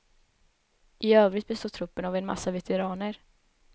I övrigt består truppen av en massa veteraner.